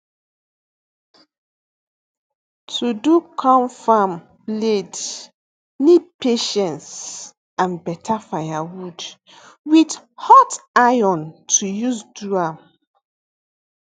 to do confam bladee need patience and better firewood with hot iron to use do am